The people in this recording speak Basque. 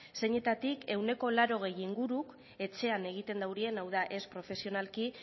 zeinetatik ehuneko laurogei inguruk etxean egiten dute hau da ez profesionalki